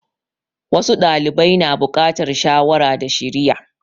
Wasu ɗalibai na bukatar shawara da shiriya.